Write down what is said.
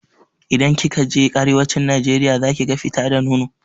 Idan kika je arewacin najeriya zakiga fita da nono.